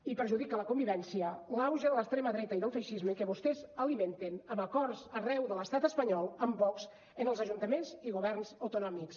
i perjudica la convivència l’auge de l’extrema dreta i del feixisme que vostès alimenten amb acords arreu de l’estat espanyol amb vox en els ajuntaments i governs autonòmics